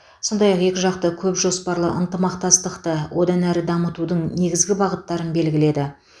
сондай ақ екіжақты көпжоспарлы ынтымақтастықты одан әрі дамытудың негізгі бағыттарын белгіледі